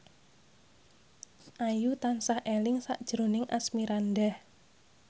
Ayu tansah eling sakjroning Asmirandah